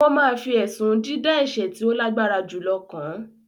wọ́n ma fi ẹ̀sùn “ dídá ẹ̀sẹ̀ tí ó lágbára jùlọ” kàn án